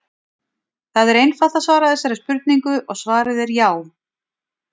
það er einfalt að svara þessari spurningu og svarið er já!